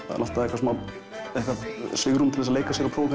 það er alltaf eitthvað svigrúm til að leika sér og prófa